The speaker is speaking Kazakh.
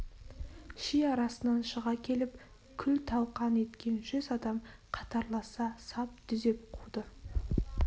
ши арасынан шыға келіп күл-талқан еткен жүз адам қатарласа сап дүзеп қуды